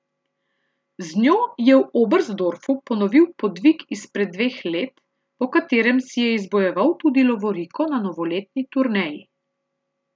Z njo je v Oberstdorfu ponovil podvig izpred dveh let, po katerem si je izbojeval tudi lovoriko na novoletni turneji.